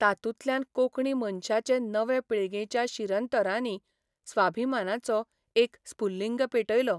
तातूंतल्यान कोंकणी मनशाचे नवे पिळगेच्यां शिरंतरांनी स्वाभिमानाचो एक स्फुल्लिंग पेटयलो.